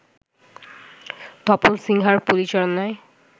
তপন সিনহার পরিচালনায়